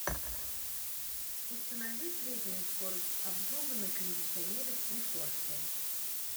установи среднюю скорость обдува на кондиционере в прихожке